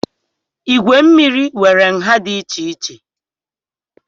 Igwe mmiri nwere nha dị iche iche